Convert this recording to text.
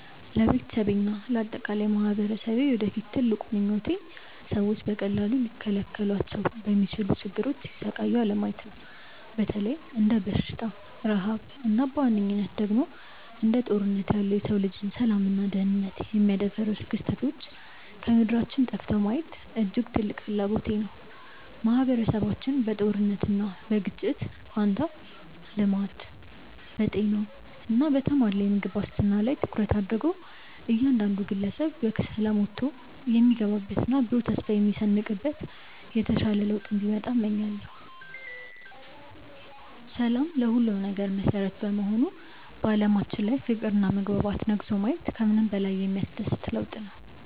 ለቤተሰቤና ለአጠቃላይ ማኅበረሰቤ የወደፊት ትልቁ ምኞቴ ሰዎች በቀላሉ ሊከላከሏቸው በሚችሉ ችግሮች ሲሰቃዩ አለማየት ነው። በተለይም እንደ በሽታ፣ ረሃብ እና በዋነኝነት ደግሞ እንደ ጦርነት ያሉ የሰው ልጅን ሰላምና ደኅንነት የሚያደፈርሱ ክስተቶች ከምድራችን ጠፍተው ማየት እጅግ ትልቅ ፍላጎቴ ነው። ማኅበረሰባችን በጦርነትና በግጭት ፋንታ በልማት፣ በጤና እና በተሟላ የምግብ ዋስትና ላይ ትኩረት አድርጎ እያንዳንዱ ግለሰብ በሰላም ወጥቶ የሚገባበትና ብሩህ ተስፋ የሚሰንቅበት የተሻለ ለውጥ እንዲመጣ እመኛለሁ። ሰላም ለሁሉም ነገር መሠረት በመሆኑ በዓለማችን ላይ ፍቅርና መግባባት ነግሶ ማየት ከምንም በላይ የሚያስደስት ለውጥ ነው።